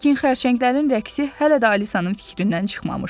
Lakin xərçənglərin rəqsi hələ də Alisanın fikrindən çıxmamışdı.